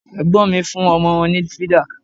Ẹ̀gbọ́n mi fún ọmọ wọn ní fídà